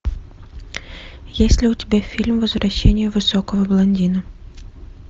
есть ли у тебя фильм возвращение высокого блондина